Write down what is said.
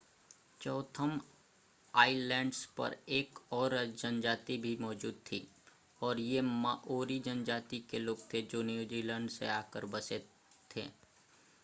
Chatham Islands पर एक और जनजाति भी मौजूद थी और ये माओरी जनजाति के लोग थे जो न्यूजीलैंड से आकर बसे थे